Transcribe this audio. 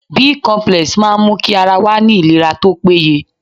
Bicomplex máa n mú kí ara wa ní ìlera tópé ye